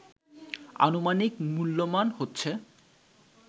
আনুমানিক মূল্যমান হচ্ছে